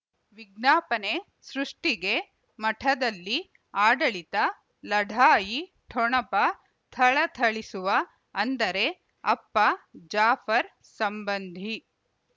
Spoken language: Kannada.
ವಿಜ್ಞಾಪನೆ ಸೃಷ್ಟಿಗೆ ಮಠದಲ್ಲಿ ಆಡಳಿತ ಲಢಾಯಿ ಠೊಣಪ ಥಳಥಳಿಸುವ ಅಂದರೆ ಅಪ್ಪ ಜಾಫರ್ ಸಂಬಂಧಿ